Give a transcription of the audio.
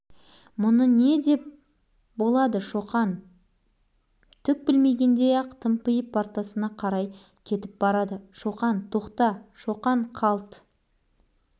өмірі бұл сыныптан мұндай өктем дауыс естіп көрмеген қаны басына шауып екі беті ду етіп қып-қызыл